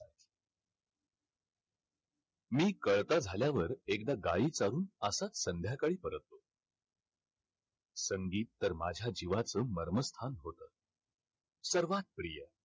मी कळता झाल्यावर एकदा गाई चारून असाच संध्याकाळी परतलो. संगीत तर माझ्या जिवाचं मर्मस्थान होतं. सर्वात प्रिय.